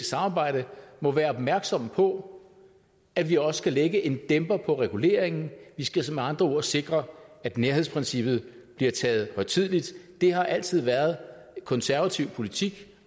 samarbejde må være opmærksomme på at vi også skal lægge en dæmper på reguleringen vi skal med andre ord sikre at nærhedsprincippet bliver taget højtideligt det har altid været konservativ politik